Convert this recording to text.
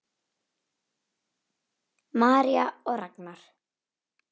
María og Ragnar.